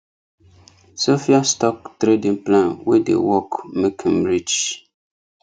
sophias stock trading plan wey dey work make m rich